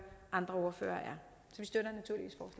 andre ordførere